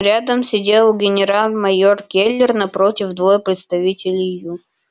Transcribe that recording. рядом сидел генерал-майор кэллнер напротив двое представителей ю